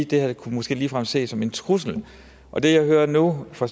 det her måske ligefrem kunne ses som en trussel og det jeg hører nu fra